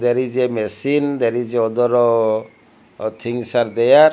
there is a machine there is a other things are there.